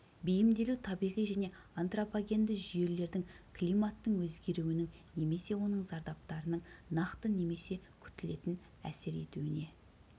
бейімделу табиғи және антропогенді жүйелердің климаттың өзгеруінің немесе оның зардаптарының нақты немесе күтілетін әсер етуіне